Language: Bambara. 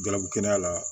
Galabu kɛnɛya la